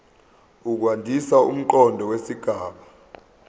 ukwandisa umqondo wesigaba